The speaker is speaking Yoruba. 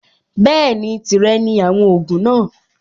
Bẹ́ẹ̀ni, tìrẹ ni àwọn ògùn náà.